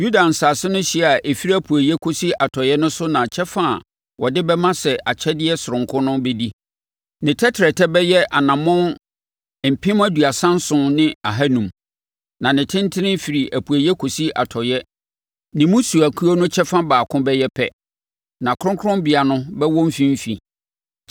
“Yuda nsase no hyeɛ a ɛfiri apueeɛ kɔsi atɔeɛ no so na kyɛfa a wode bɛma sɛ akyɛdeɛ sononko no bɛdi. Ne tɛtrɛtɛ bɛyɛ anammɔn mpem aduasa nson ne ahanum. Na ne tentene, ɛfiri apueeɛ kɔsi atɔeɛ no ne mmusuakuo no kyɛfa baako bɛyɛ pɛ, na kronkronbea no bɛwɔ mfimfini.